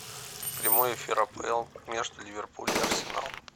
прямой эфир апл между ливерпуль и арсенал